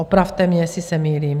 Opravte mě, jestli se mýlím.